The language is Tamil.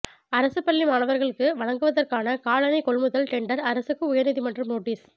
அரசு பள்ளி மாணவர்களுக்கு வழங்குவதற்கான காலணி கொள்முதல் டெண்டர் அரசுக்கு உயர் நீதிமன்றம் நோட்டீஸ்